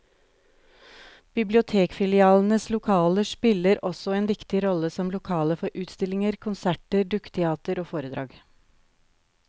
Bibliotekfilialenes lokaler spiller også en viktig rolle som lokaler for utstillinger, konserter, dukketeater og foredrag.